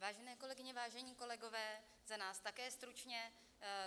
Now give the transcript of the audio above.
Vážené kolegyně, vážení kolegové, za nás také stručně.